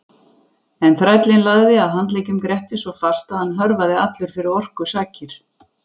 En þrællinn lagði að handleggjum Grettis svo fast að hann hörfaði allur fyrir orku sakar.